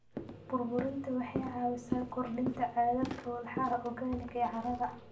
Burburinta waxay caawisaa kordhinta cadadka walxaha organic ee carrada.